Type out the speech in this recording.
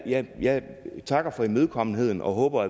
takker for imødekommenheden og håber